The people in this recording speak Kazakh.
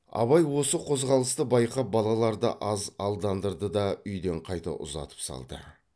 абай осы қозғалысты байқап балаларды аз алдандырды да үйден қайта ұзатып салды